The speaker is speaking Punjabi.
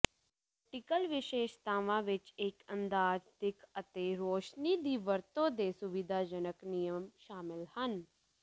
ਵਰਟੀਕਲ ਵਿਸ਼ੇਸ਼ਤਾਵਾਂ ਵਿੱਚ ਇੱਕ ਅੰਦਾਜ਼ ਦਿੱਖ ਅਤੇ ਰੌਸ਼ਨੀ ਦੀ ਵਰਤੋਂ ਦੇ ਸੁਵਿਧਾਜਨਕ ਨਿਯਮ ਸ਼ਾਮਲ ਹਨ